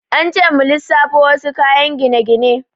An ce mu lissafo wasu kayan gine-gine.